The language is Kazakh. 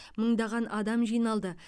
мыңдаған адам жиналды